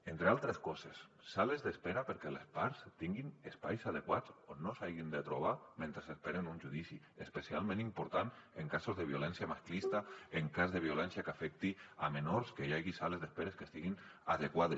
entre altres coses sales d’espera perquè les parts tinguin espais adequats on no s’hagin de trobar mentre esperen un judici especialment important en casos de violència masclista en cas de violència que afecti menors que hi hagi sales d’espera que siguin adequades